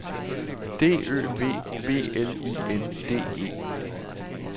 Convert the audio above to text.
D Ø V B L I N D E